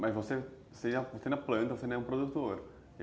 Mas você você planta, você não é produtor.